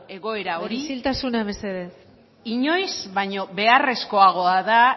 egoera hori isiltasuna mesedez inoiz baino beharrezkoagoa da